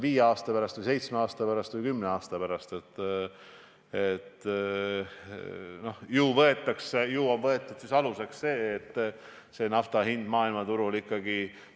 Kui ehitada see Ida-Virumaale, saaks sinna luua vähemalt sama palju töökohti kui 125 miljoni euro eest põlevkiviõlitehases.